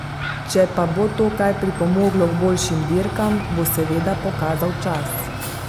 Če pa bo to kaj pripomoglo k boljšim dirkam, bo seveda pokazal čas.